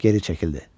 Geri çəkildi.